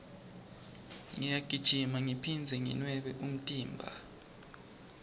ngiyagijima ngiphindze nginwebe umtimba